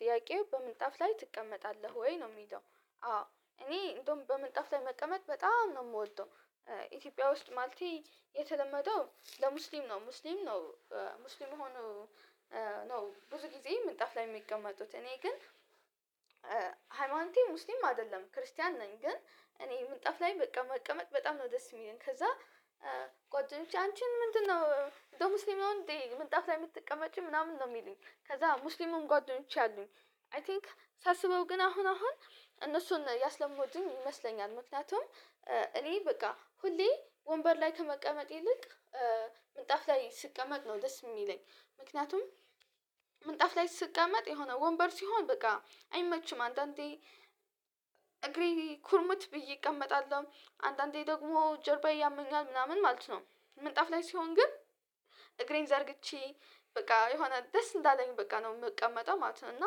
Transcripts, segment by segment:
ጥያቄው በምንጣፍ ላይ ትቀመጣለህ ወይ ነው የምሄደው? አዎ እኔ እንደውም በመንጣፍ ላይ መቀመጥ በጣም ነው የምወደው። ኢትዮጵያ ውስጥ ማለት የተለመደው ለሙስሊም ነው ሙስሊም ነው። ሙስሊም ሆኖ። ነው ብዙ ጊዜ ምንጣፍ ላይ የሚቀመጡት እኔ ግን። ሃይማኖቴ ሙስሊም አይደለም ክርስቲያን ነኝ። ግን እኔ ምንጣፍ ላይ በቃ መቀመጥ በጣም ነው ደስ የሚለኝ ከዛ። ቆጥሮ ውጪ አንቺን ምንድነው እንድሙስሊም ነው እንዴ? ምንጣፍ ነው የምትቀመጪ ምናምን ነው የሚለኝ ከዛ ሙስሊሙን ጓደኞቼ አሉኝ። አይ ቲንክ ሳስበው ግን አሁን አሁን እነሱን ያስለመዱኝ ይመስለኛል። ምክንያቱም እኔ በቃ ሁሌ ወንበር ላይ ከመቀመጥ ይልቅ ላይ ስቀመጥ ነው ደስ የሚለኝ። ምክንያቱም ምንጣፍ ላይ ስቀመጥ የሆነ ወንበር ሲሆን በቃ አይመችም አንዳንዴ። እግሬ ኩርምት ብዬ እቀመጣለሁ አንዳንዴ ደግሞ ጀርባዬ ያመኛል ምናምን ማለት ነው። ምንጣፍ ላይ ሲሆን ግን እግሬን ዘርግቼ በቃ የሆነ ደስ እንዳለኝ በቃ ነው የምቀመጠው ማለት ነው። እና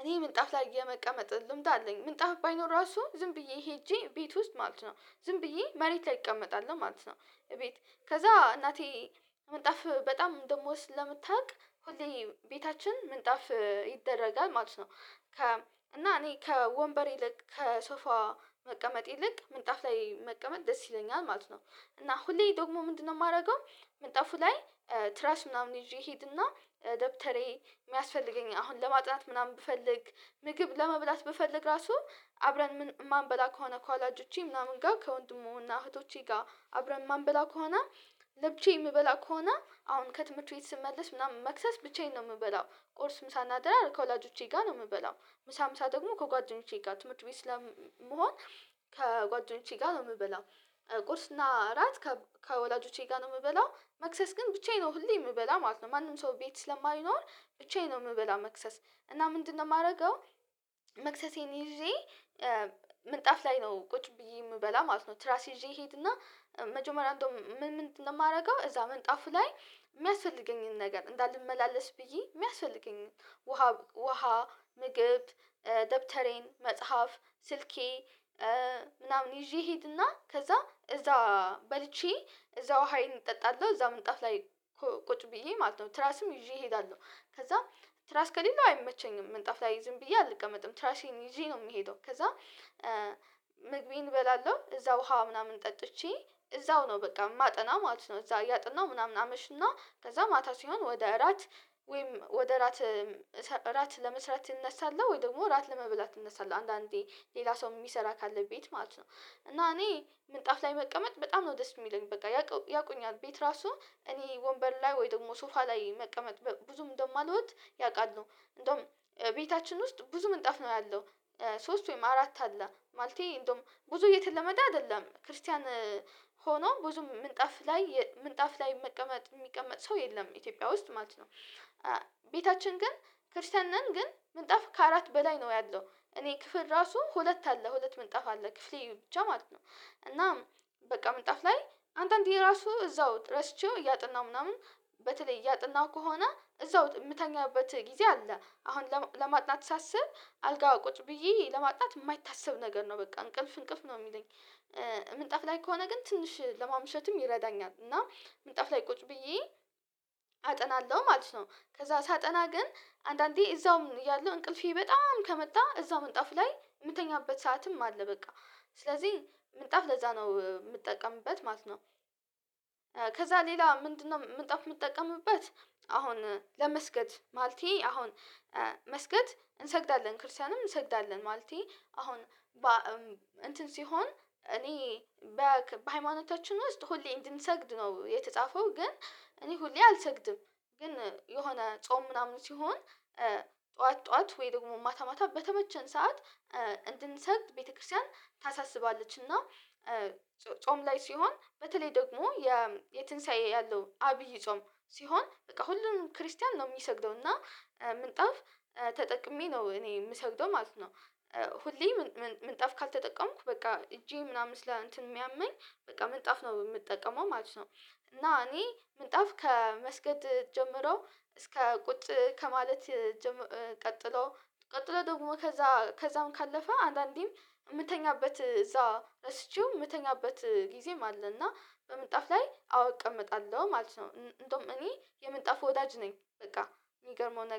እኔ ምንጣፍ ላይ የመቀመጥ ልምድ አለኝ ምንጣፍ ባይኖር ራሱ ዝም ብዬ ሄጄ ቤት ውስጥ ማለት ነው። ዝም ብዬ መሬት ላይ እቀመጣለሁ ማለት ነው። ቤት ከዛ እናቴ ምጣፍ በጣም እንደምወድ ስለምታውቅ ሁሌ ቤታችን ምንጣፍ ይደረጋል ማለት ነው። ከ እና እኔ ከወንበሬ ልክ ከሶፋ መቀመጥ ይልቅ ምንጣፍ ላይ መቀመጥ ደስ ይለኛል ማለት ነው። እና ሁሌ ደግሞ ምንድነው የማደርገው? መጣፉ ላይ ትራስ ምናምን ይዤ ሄድና ደብተሬ የሚያስፈልገኝ አሁን ለማጥናት ምናምን ብፈልግ ምግብ ለመብላት ብፈልግ ራሱ አብረን ማንበላ ከሆነ ከወላጆቼ ምናምን ጋር ከወንድም እና እህቶቼ ጋር አብረን ማንበላ ከሆነ። ለብቻዬ የምበላ ከሆነ አሁን ከትምህርት ቤት ስመለስ ምናምን መክሰስ ብቻዬን ነው የምበላው ቁርስ ምሳ እናድራር ከወላጆቼ ጋር ነው የምበላው። ምሳ ምሳ ደግሞ ከጓደኞቼ ጋር ትምህርት ቤት ስለመሆን ከጓደኞቼ ጋር ነው የምበላው። ቁርስ እና እራት ከወላጆቼ ጋር ነው የምበላው መክሰስ ግን ብቻዬን ነው ሁሌ የምበላ ማለት ነው። ማንም ሰው ቤት ስለማይኖር ብቻዬን ነው የምበላ እና ምንድነው የማደርገው? መክሰሴን ይዤ ምንጣፍ ላይ ነው ቁጭ ብዬ የምበላ ማለት ነው። ትራስ ይዤ ይሄድና መጀመሪያ አንዱ ምን ምን እንደማደርገው እዛ መንጣፉ ላይ የሚያስፈልገኝን ነገር እንዳልመላለስ ብዬ የሚያስፈልገኝ ውሃ ውሃ ምግብ። ደብተሬን መጽሐፍ ስልኬ ምናምን ይዤ እሄድና ከዛ በልቼ እዛው ውሃዬን እጠጣለሁ እዛው ምንጣፍ ላይ። ቁጭ ብዬ ማለት ነው ትራስም ይዤ እሄዳለሁ። ከዛም ትራስ ከሌለው አይመቸኝም ምንጣፍ ላይ ዝም ብዬ አልቀመጥም ትራሽን ይዤ ነው የምሄደው ከዛ። ምግቤን እበላለሁ እዛ ውሃ ምናምን ጠጥቼ እዛው ነው በቃ ማጠና ማለት ነው። እዛ ያጥነው ምናምን አመሽና ከዛ ማታ ሲሆን ወደ እራት ወይም ወደ ራት እራት ለመስራት እነሳለው ወይ ደግሞ ራት ለመብላት እነሳለው አንዳንዴ ሌላ ሰው የሚሰራ ካለ ቤት ማለት ነው። እና እኔ ምንጣፍ መቀመጥ በጣም ነው ደስ የሚለኝ በቃ ያውቁኛል ቤት ራሱ እኔ ወንበር ላይ ወይ ደግሞ ሱፋ ላይ መቀመጥ ብዙም እንደማልሆን ያውቃሉ እንደውም ቤታችን ውስጥ ብዙም ምንጣፍ ነው ያለው። ሶስት ወይም አራት አለ ማለቴ እንደውም ብዙ የተለመደ አይደለም ክርስቲያን ሆኖ ብዙ ምንጣፍ ላይ ምንጣፍ ላይ መቀመጥ የሚቀመጥ ሰው የለም። ኢትዮጵያ ውስጥ ማለት ነው። ቤታችን ግን ክርስቲያን ነን ግን ምንጣፍ ከአራት በላይ ነው ያለው እኔ ክፍል ራሱ ሁለት አለ ሁለት ምንጣፍ አለ ክፍሌ ብቻ ማለት ነው። እና በቃ ምንጣፍ ላይ አንዳንዴ ራሱ እዛው ረስቼው እያጠናሁ ምናምን። በተለይ እያጠናሁ ከሆነ እዛው የምተኛበት ጊዜ አለ አሁን ለማጥናት ሳስብ አልጋው ቁጭ ብዬ ለማጣት የማይታሰብ ነገር ነው በቃ እንቅልፍ እንቅልፍ ነው የሚለኝ። ምንጣፍ ላይ ከሆነ ግን ትንሽ ለማምሸትም ይረዳኛል እና ምንጣፍ ላይ ቁጭ ብዬ አጠናለሁ ማለት ነው። ከዛ ሳጠና ግን አንዳንዴ እዛው ያለው እንቅልፌ በጣም ከመጣ እዛው ምንጣፍ ላይ የምተኛበት ሰዓትም አለ። በቃ ስለዚህ ምንጣፍ ለዛ ነው የምጠቀምበት ማለት ነው። ከዛ ሌላ ምንድነው? ምጣፍ የምጠቀምበት። አሁን ለመስገድ ማለቴ አሁን መስገድ እንሰግዳለን ክርስቲያንም እንሰግዳለን ማለቴ አሁን እንትን ሲሆን እኔ በሃይማኖታችን ውስጥ ሁሌ እንድንሰግድ ነው የተጻፈው። ግን እኔ ሁሌ አልሰግድም። ግን የሆነ ጾም ምናምን ሲሆን ጠዋት ጠዋት ወይ ደግሞ ማታ ማታ በተመቸን ሰዓት። እንድንሰግድ ቤተክርስቲያን ታሳስባለች። እና ጾም ላይ ሲሆን በተለይ ደግሞ የ የትንሳኤ ያለው አብይ ጾም ሲሆን በቃ ሁሉንም ክርስቲያን ነው የሚሰግደው እና ምንጣፍ ተጠቅሜ ነው እኔ የምሰግደው ማለት ነው። ሁሌ ምንጣፍ ካልተጠቀምኩ በቃ እጄ ምናምን እንትን ስለሚያመኝ በቃ ምንጣፍ ነው የምጠቀመው ማለት ነው። እና እኔ ምጣፍ ከመስገድ ጀምሮ እስከ ቁጭ ከማለት። ቀጥሎ ቀጥሎ ደግሞ ከዛ ከዛም ካለፈ አንዳንዴም ምተኛበት እዛ እረስቸው የምተኛበት ጊዜም አለና በምጣፍ ላይ አወ እቀመጣለሁ ማለት ነው። እንደውም የምጠፍ ወዳጅ ነኝ። በቃ የሚገርመው ነገር